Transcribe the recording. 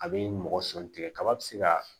A bɛ mɔgɔ sɔn tigɛ kaba bɛ se ka